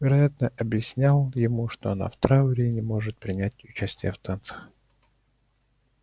вероятно объяснял ему что она в трауре и не может принять участия в танцах